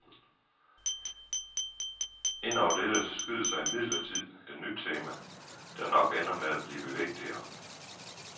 Ind over dette skyder sig imidlertid et nyt tema, der nok ender med at blive vigtigere.